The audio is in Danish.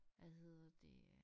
Hvad hedder det øh